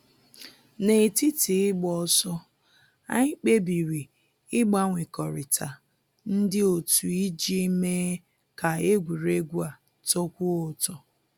N'etiti ịgba ọsọ, anyị kpebiri ịgbanwekọrịta ndị otu iji mee kaa egwuregwu a tọkwuo ụtọ